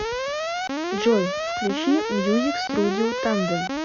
джой включи мьюзик струдио тандем